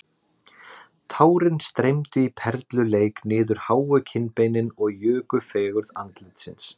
Tárin streymdu í perluleik niður háu kinnbeinin og juku fegurð andlitsins